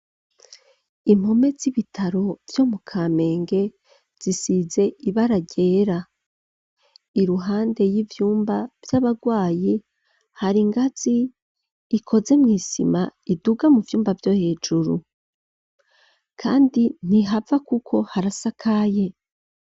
Impome z'ibitaro vyo mu kamenge zisize ibara ryera iruhande y'ivyumba vy'abarwayi hari ingazi ikoze mw'isima iduga mu vyumba vyo hejuru, kandi ntihava, kuko harasakaye.